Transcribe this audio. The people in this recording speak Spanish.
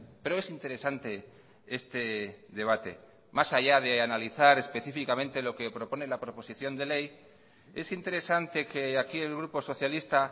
pero es interesante este debate más allá de analizar específicamente lo que propone la proposición de ley es interesante que aquí el grupo socialista